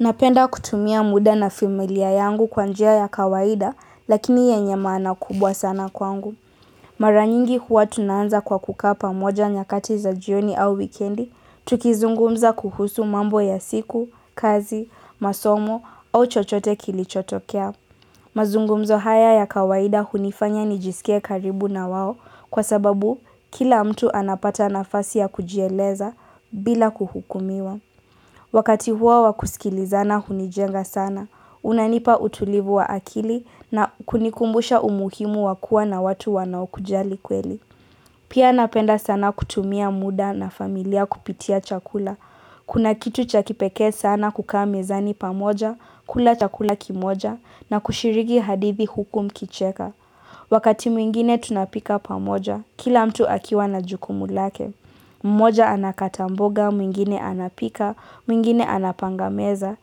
Napenda kutumia muda na familia yangu kwa njia ya kawaida, lakini yenye maana kubwa sana kwangu. Mara nyingi huwa tunaanza kwa kukaa pamoja nyakati za jioni au wikendi, tukizungumza kuhusu mambo ya siku, kazi, masomo au chochote kilichotokea. Mazungumzo haya ya kawaida hunifanya nijisike karibu na wao kwa sababu kila mtu anapata nafasi ya kujieleza bila kuhukumiwa. Wakati huo wakusikilizana hunijenga sana, unanipa utulivu wa akili na kunikumbusha umuhimu wa kua na watu wanao kujali kweli. Pia napenda sana kutumia muda na familia kupitia chakula. Kuna kitu chakipeke sana kukaa mezani pamoja, kula chakula kimoja, na kushiriki hadithi huku mkicheka. Wakati mwingine tunapika pamoja, kila mtu akiwa na jukumu lake. Mmoja anakata mboga, mwingine anapika, mwingine anapanga meza.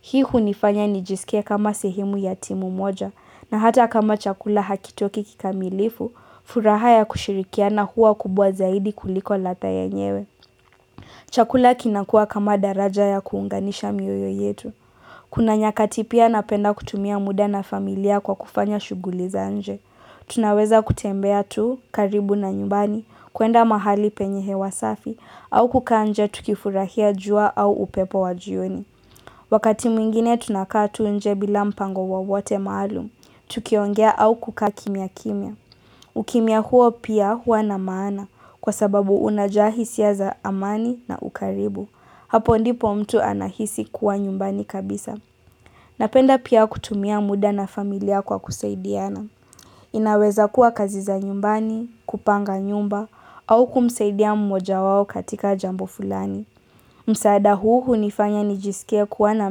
Hii hunifanya nijisike kama sehemu ya timu moja na hata kama chakula hakitoki kikamilifu, furaha ya kushirikiana hua kubwa zaidi kuliko ladha yenyewe. Chakula kina kua kama daraja ya kuunganisha mioyo yetu. Kuna nyakati pia napenda kutumia muda na familia kwa kufanya shughuli za nje. Tunaweza kutembea tu, karibu na nyumbani, kuenda mahali penye hewa safi, au kukaanje tukifurahia jua au upepo wa jioni. Wakati mwingine tunakaa tu nje bila mpango wowote maalum, tukiongea au kukaa kimia kimia. Ukimia huo pia hua na maana kwa sababu unajaa hisia za amani na ukaribu. Hapo ndipo mtu anahisi kuwa nyumbani kabisa. Napenda pia kutumia muda na familia kwa kusaidiana. Inaweza kuwa kazi za nyumbani, kupanga nyumba au kumsaidia mmoja wao katika jambo fulani. Msaada huu hunifanya nijisikia kuwa na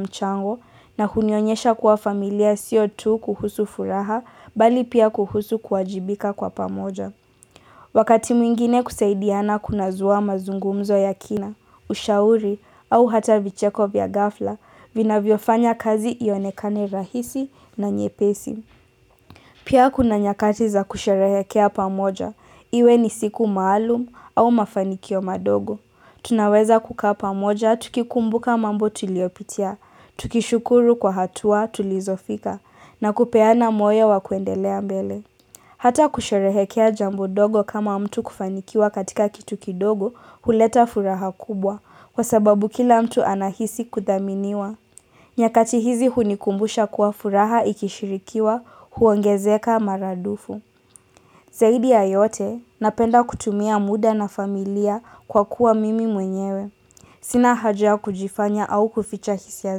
mchango na hunionyesha kuwa familia sio tu kuhusu furaha bali pia kuhusu kuwajibika kwa pamoja. Wakati mwingine kusaidiana kuna zua mazungumzo ya kina, ushauri, au hata vicheko vya ghafla, vinavyo fanya kazi ionekane rahisi na nyepesi. Pia kuna nyakati za kusherehekea pamoja, iwe ni siku maalum au mafanikio madogo. Tunaweza kukaa pamoja tukikumbuka mambo tuliopitia, tukishukuru kwa hatua tulizofika, na kupeana moya wakuendelea mbele. Hata kusherehekea jambo ndogo kama mtu kufanikiwa katika kitu kidogo huleta furaha kubwa, kwa sababu kila mtu anahisi kuthaminiwa. Nyakati hizi hunikumbusha kuwa furaha ikishirikiwa huongezeka maradufu. Zaidi ya yote, napenda kutumia muda na familia kwa kuwa mimi mwenyewe. Sina haja kujifanya au kuficha hisia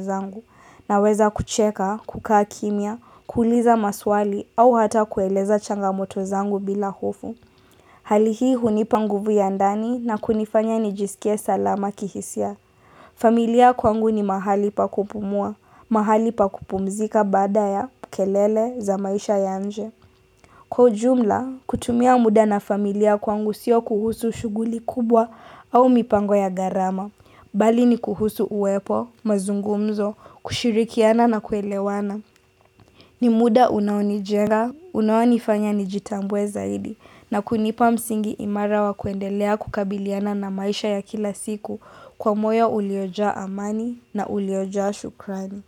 zangu na weza kucheka, kukaa kimia, kuuliza maswali au hata kueleza changamoto zangu bila hofu. Hali hii hunipa nguvu ya ndani na kunifanya nijisikie salama kihisia. Familia kwangu ni mahali pakupumua, mahali pakupumzika badaa ya, kelele, za maisha ya nje. Kwa ujumla, kutumia muda na familia kwangu sio kuhusu shuguli kubwa au mipango ya gharama. Mbali ni kuhusu uwepo, mazungumzo, kushirikiana na kuelewana. Ni muda unaonijenga, unaonifanya nijitambue zaidi, na kunipa msingi imara wa kuendelea kukabiliana na maisha ya kila siku kwa moyo uliojaa amani na uliojaa shukrani.